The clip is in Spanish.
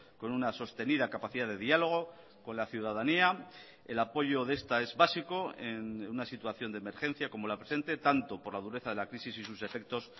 con una sostenida capacidad de diálogo con la ciudadanía el apoyo de esta es básico en una situación de emergencia como la presente tanto por la dureza de la crisis y sus efectos